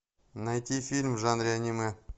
найти фильм в жанре аниме